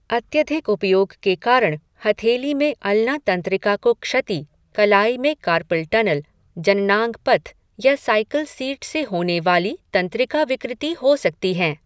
अत्यधिक उपयोग के कारण हथेली में अल्ना तंत्रिका को क्षति, कलाई में कार्पल टनल, जननांग पथ या साइकिल सीट से होने वाली तंत्रिकाविकृति हो सकती हैं।